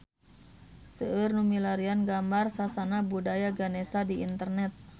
Seueur nu milarian gambar Sasana Budaya Ganesha di internet